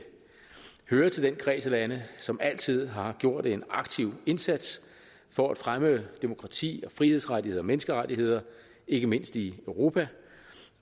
hører til den kreds af lande som altid har gjort en aktiv indsats for at fremme demokrati frihedsrettigheder og menneskerettigheder ikke mindst i europa